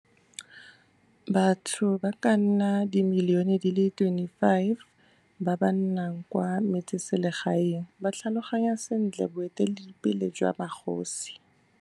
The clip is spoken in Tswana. Batho ba ka nna dimilione di le 25 ba ba nnang kwa metseselegaeng ba tlhaloganya sentle boeteledipele jwa magosi.